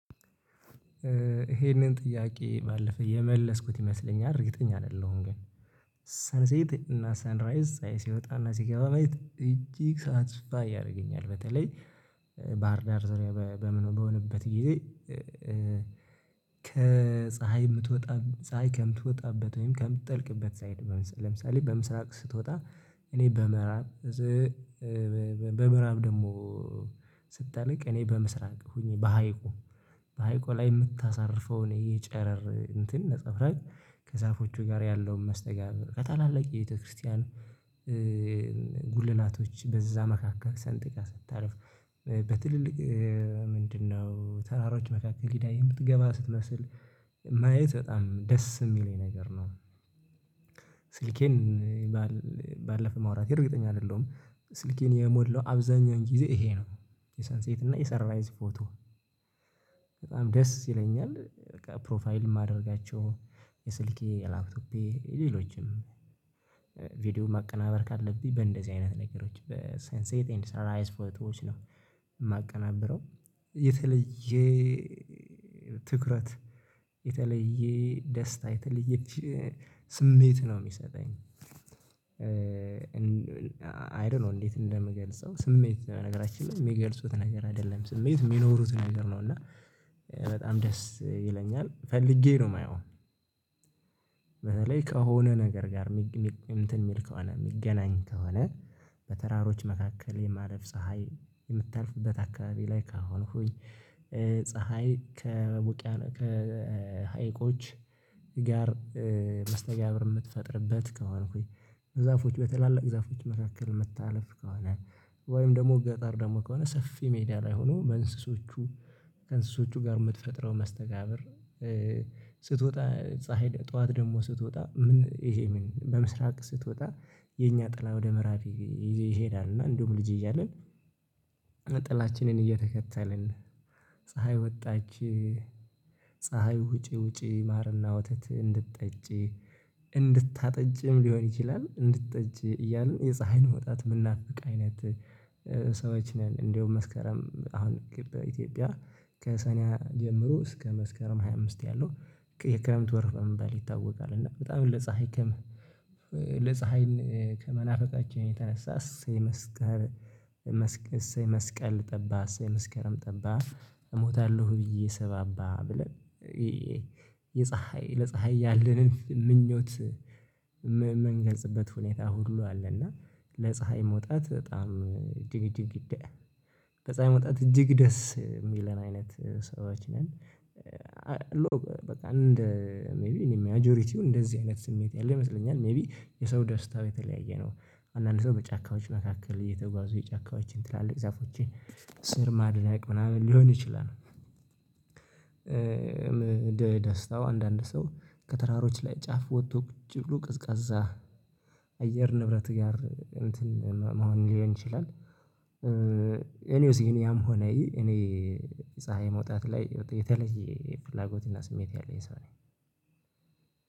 ይሄንን ጥያቄ ባለፈ የመለስኩት ይመስለኛል። እርግጠኛ አይደለሁም ግን። ሰንሴት እና ሰንራይዝ ሳይ ሲወጣ እና ሲገባ ማየት እጅግ ሳቲስፋይ ያደርገኛል በተለይ ባህር ዳር ዙሪያ በሆ በምን በሆነበት ጊዜ ከፀሀይ ምትወጣ ፀሀይ ከምትወጣበት ወይም ከምትጠልቅበት ሳይድ ለምሳሌ በምስራቅ ስትወጣ እኔ በምራብ በምዕራብ ደግሞ ስትጠነቅ እኔ በምስራቅ ሆኜ በሀይቁ በሀይቁ ላይ የምታሳርፈው እኔ ይሄ ጨረር እንትን ነፀብራቅ ከዛፎቹ ጋር ያለውን መስተጋብር ከታላላቅ የቤተክርስቲያን ጉልላቶች በዛ መካከል ሰንጥቃ ስታርፍ በትልልቅ ምንድነው ተራሮች መካከል ሂዳ የምትገባ ስትመስል ማየት በጣም ደስ የሚለኝ ነገር ነው። ስልኬን ባለ ባለፈ ማውራቴ እርግጠኛ አይደለሁም። ስልኬን የሞላው አብዛኛው ጊዜ ይሄ ነው። የሰንሴት እና የሰርቫይዝ ፎቶ በጣም ደስ ይለኛል። በቃ ፕሮፋይል ማድረጋቸው የስልኬ፣ የላፕቶፔ ሌሎችም ቪዲዮ ማቀናበር ካለብኝ በእንደዚህ አይነት ነገሮች በሰንሴት ኤንድ ሰንራላይዝ ፎቶዎች ነው። የማቀናብረው የተለየ ትኩረት የተለየ ደስታ የተለየ ስሜት ነው የሚሰጠኝ አይ ዶንት ኖ እንዴት እንደምገልጸው። ስሜት በነገራችን ላይ የሚገልጹት ነገር አይደለም። ስሜት የሚኖሩት ነገር ነው እና። በጣም ደስ ይለኛል። ፈልጌ ነው የማየው። በተለይ ከሆነ ነገር ጋር እንትን የሚል ከሆነ የሚገናኝ ከሆነ በተራሮች መካከል የማለፍ ፀሀይ የምታልፍበት አካባቢ ላይ ከሆንሁኝ ፀሀይ ከውቂያኖ ከሀይቆች ጋር መስተጋብር የምትፈጥርበት ከሆንሁኝ ዛፎች በትላልቅ ዛፎች መካከል ምታልፍ ከሆነ ወይም ደግሞ ገጠር ደግሞ ከሆነ ሰፊ ሜዳ ላይ ሆኖ በእንስሶቹ ከእንስሶቹ ጋር የምትፈጥረው መስተጋብር ስትወጣ ፀሀይ ጠዋት ደግሞ ስትወጣ ምን ይሄ ምን በምስራቅ ስትወጣ የኛ ጥላ ወደ ምዕራብ ይዞ ይሄዳል እና እንዲሁም ልጅ እያለን ጥላችንን እየተከተልን ፀሀይ ወጣች ፀሀይ ውጪ ውጪ ማርና ወተት እንድትጠጪ እንድታጠጂም ሊሆን ይችላል እንድትጠጪ እያልን የፀሀይን መውጣት የምናፍቅ አይነት ሰዎች ን። እንደውም መስከረም አሁን በኢትዮጵያ ከሰኔ ጀምሮ እስከ መስከረም ሃያ አምስት ያለው የክረምት ወር በመባል ይታወቃል እና በጣም ለፀሀይ ከመናፈቅ ከመናፈቃችን የተነሳ እሰይ መስከር እሰይ መስቀል ጠባ እሰይ መስከረም ጠባ እሞታለሁ ብዬ ስባባ ብለን የፀሀይ ለፀሀይ ያለንን ምኞት ምም ምንገልጽበት ሁኔታ ሁሉ አለ እና ለፀሀይ መውጣት በጣም እጅግ እጅግ ለፀሀይ መውጣት እጅግ ደስ የሚለን አይነት ሰዎች ነን በቃ እንደ ሜይቢ እኔ ማጆሪቲው እንደዚህ አይነት ስሜት ያለ ይመስለኛል። ሜይቢ የሰው ደስታው የተለያየ ነው። አንዳንድ ሰው በጫካዎች መካከል እየተጓዙ የጫካዎችን ትላልቅ ዛፎችን ስር ማድነቅ ምናምን ሊሆን ይችላል። ደስታው አንዳንድ ሰው ከተራሮች ላይ ጫፍ ወጥቶ ቁጭ ብሎ ቅዝቃዛ አየር ንብረት ጋር እንትን መሆን ሊሆን ይችላል። እኔ ያም ሆነ ይህ እኔ ፀሀይ መውጣት ላይ የተለየ ፍላጎት እና ስሜት ያለው የሰው ነው